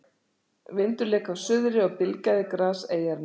Vindur lék af suðri og bylgjaði gras eyjarinnar.